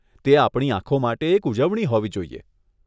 તે આપણી આંખો માટે એક ઉજવણી હોવી જોઈએ.